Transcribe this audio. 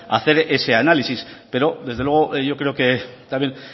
a hacer ese análisis pero desde luego yo creo que también